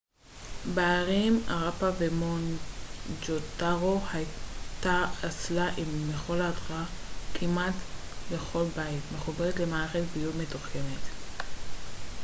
בערים האראפה ומואנג'ודארו הייתה אסלה עם מכל הדחה כמעט בכל בית מחוברת למערכת ביוב מתוחכמת